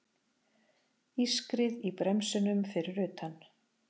Ískrið í bremsunum fyrir utan.